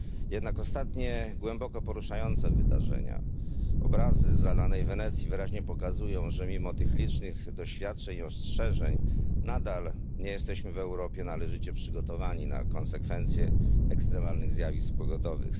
Jednak ostatnie głęboko poruszające wydarzenia, obrazy zalanej Wenecji wyraźnie pokazują, że mimo tych licznych doświadczeń i ostrzeżeń nadal nie jesteśmy w Europie należycie przygotowani na konsekwencje ekstremalnych zjawisk pogodowych.